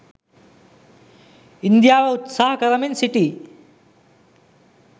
ඉන්දියාව උත්සාහ කරමින් සිටියි